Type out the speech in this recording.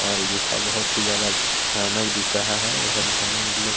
और रूखा बहुत ही ज्यादा भयानक दिख रहा है उधर जाना मतलब--